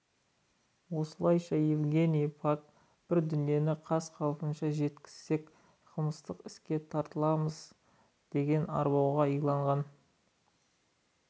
осылайша жазығымыз жоқ деген евгений пак бар дүниені қаз-қалпында жеткізсек қылмыстық іске тартыламыз деген арбауға иланғанын